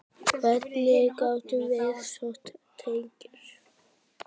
Hvert gátuð þið sótt tekjur?